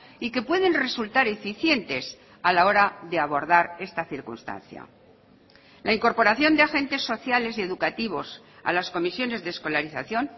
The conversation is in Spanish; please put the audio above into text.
y que pueden resultar eficientes a la hora de abordar esta circunstancia la incorporación de agentes sociales y educativos a las comisiones de escolarización